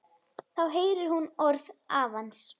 Þá heyrir hún orð afans.